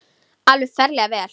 Alveg ferlega vel.